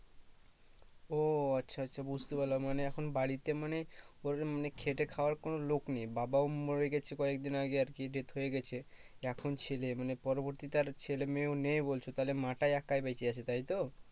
ও আচ্ছা আচ্ছা বুঝতে পারলাম মানে এখন বাড়িতে মানে ওরম মানে খেটে খাওয়ার কোনো লোক নেই বাবাও মরে গেছে কয়েকদিন আগে আর কি death হয়ে গেছে এখন ছেলে মানে পরবর্তীতে আর ছেলে মেয়ে ও নেই বলছো তাহলে মা টা একাই বেঁচে আছে তাই তো